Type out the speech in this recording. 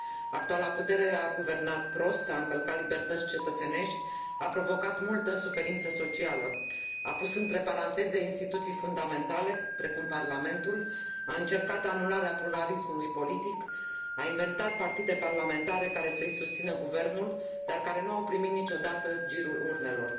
Actuala putere a guvernat prost, a încălcat libertăți cetățenești, a provocat multă suferință socială, a pus între paranteze instituții fundamentale, precum parlamentul, a încercat anularea pluralismului politic, a inventat partide parlamentare care să i susțină guvernul, dar care nu au primit niciodată girul urnelor.